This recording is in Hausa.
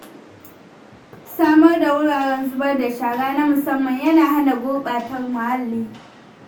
Samar da wuraren zubar da shara na musamman yana hana gurɓata muhalli.